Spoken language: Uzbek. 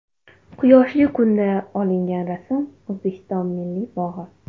Quyoshli kunda olingan rasm O‘zbekiston Milliy bog‘i.